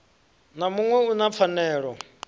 na muṋwe u na pfanelo